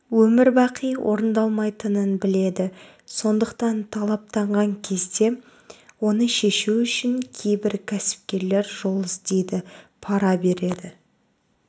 өмірбақи орындалмайтынын біледі сондықтан талаптанған кезде оны шешу үшін кейбір кәсіпкерлер жол іздейді пара береді